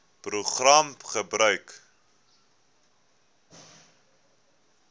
program gebruik